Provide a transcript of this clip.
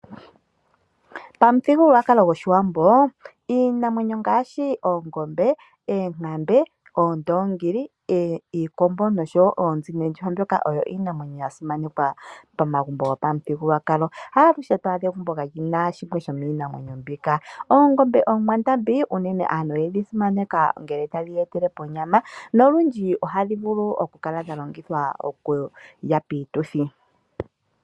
Pamuthigululwa goshiwambo, iinamwenyo ngaashi oongombe, eenkambe , oondongili, iikombo noshowo oonzi noondjuhwa mbyoka oyo iinamwenyo yasimanekwa pamagumbo gopamuthigululwakalo. Ha aluhe twaadha egumbo kali na shimwe sho miinamwenyo mbika. Oongombe oonkwandambi uunene aantu oye dhi simaneka ngele tadhi ya etele po onyama, nolundji ohadhi vulu oku kala dha longithwa oku lya piituthi.